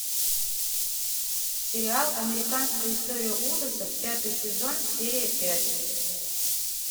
сериал американская история ужасов пятый сезон серия пять